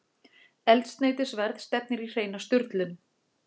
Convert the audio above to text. Eldsneytisverð stefnir í hreina sturlun